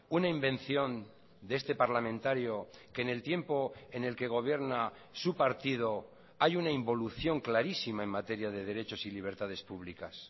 una invención de este parlamentario que en el tiempo en el que gobierna su partido hay una involución clarísima en materia de derechos y libertades públicas